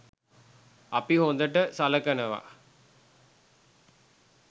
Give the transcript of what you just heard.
අපි හොඳට සලකනවා